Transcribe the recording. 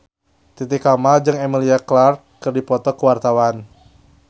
Titi Kamal jeung Emilia Clarke keur dipoto ku wartawan